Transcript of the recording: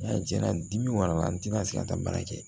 N'a jɛna dimi wara la n tɛna se ka taa baara kɛ